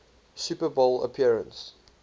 super bowl appearance